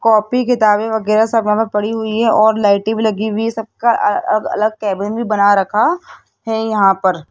copy किताबें वगैरा सभा में पड़ी हुई है और लाइटें भी लगी हुई है सबका अ अ अलग केबिन भी बना रखा है यहां पर --